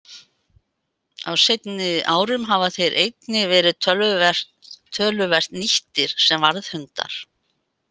Á seinni árum hafa þeir einnig verið töluvert nýttir sem varðhundar.